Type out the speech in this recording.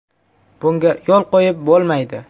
Bunga yo‘l qo‘yib bo‘lmaydi.